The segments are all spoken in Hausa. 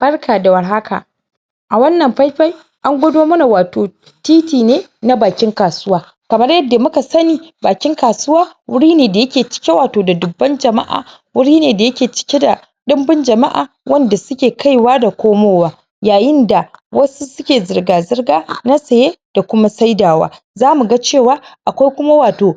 Barka da warhaka a wannan faifai an gwado mana wto titi ne na bakin kasuwa kamar yadda muka sani bakin kasuwa wuri ne da yake cike da wato dubban jama’a wuri ne da yake cike da ɗumbin jama’a wanda suke kaiwa da komowa yayin da wasu suke zirga-zirga na saye da kuma saidawa zamu ga cewa akwai kuma wato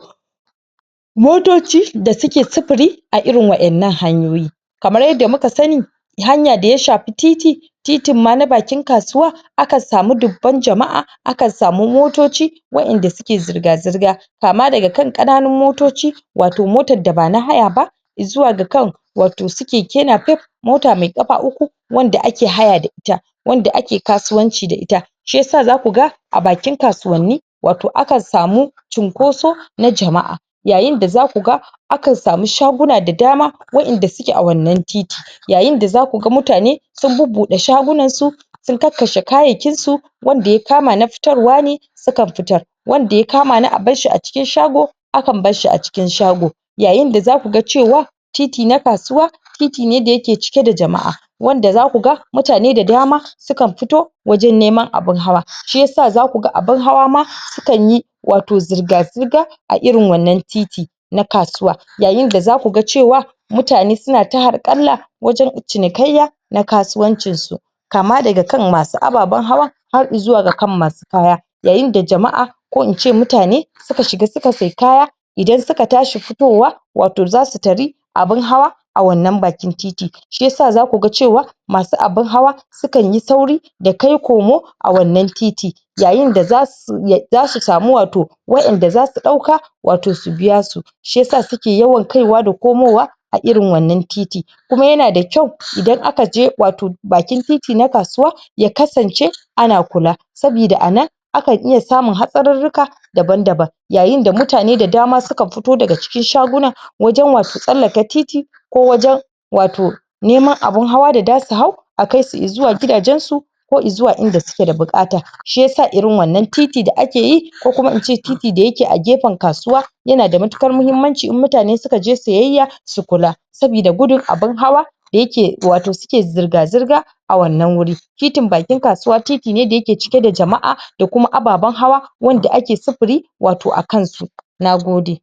motoci da suke sufuri a irin wa’innan hanyoyi kamar yadda muka sani hanya da ya shafi titi, titin ma na bakin kasuwa akan samu dubban jama’a akan samu motoci wa’inda suke zirga-zirga kama daga kan ƙananun motoci wato motar da ba na haya ba i zuwa ga kan wato su keke napep, mota me ƙafa uku wanda ake haya da ita, wanda ake kasuwanci da ita shi yasa zaku ga a bakin kasuwanni wato akan samu cunkoso na jama'a yayin da zaku ga akan samu shaguna da dama wa’inda suke a wannan titi yayin da zaku ga mutane sun bubbuɗe shagunansu sun kakkashe kayayyakinsu wanda ya kama ma fitarwa ne sukan fitar wanda ya kama na abar shi a cikin shago akan bar shi a cikin shago yayin da zaku ga cewa titi na kasuwa titi ne da yake cike da jama’a wanda zaku ga mutane da dama sukan fito neman abin hawa, shi yasa zaku ga abin hawa ma sukan yi wato zirga-zirga a irin wannann titi na kasuwa yayin da zaku ga cewa mutane suna ta harƙalla wajen cinikayya na kasuwancinsu kama daga kan masu ababen hawa har izuwa ga kan masu kaya yayin da jama'a ko in ce mutane suka shiga suka sai kaya idan suka tashi fitowa wato zasu tari abin hawa a wannan bakin titi shi yasa zaku ga cewa masu abin hawa sukan yi sauri da kai komo a wannan titi yayin da zasu zasu samo wato wa'inda zasu ɗauka wato su biya su shi yasa suka yawan kaiwa da komowa a irin wannan titi kuma yana da kyau idan aka je wato bakin titi na kasuwa, ya kasance ana kula sabida a nan akan iya samun hatsarurruka daban-daban yayin da mutane da dama suka fito daga cikin shaguwa wajen wato masu tsallaka titi ko wajen wato neman abin hawa da dasu hau a kai su izuwa gidajensu ko izuwa inda suke da buƙata, shi yasa irin wannan titi da ake yi ko kuma in ce titi da yake a gefen kasuwa yana da matuƙar mahimmanci in mutane suka je siyayya su kula sabida gudun abin hawa da yake wato suke zirga-zirga a wannan wuri titin bakin kasuwa titi ne da yake cike da jama’a da kuma ababen hawa wanda ake sifiri wato akan su nagode